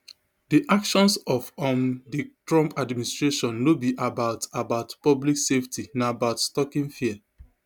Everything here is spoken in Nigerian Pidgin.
di actions of um di trump administration no be about about public safety na about stoking fear